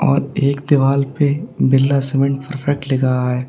और एक दीवाल पे बिरला सीमेंट परफेक्ट लिखा है।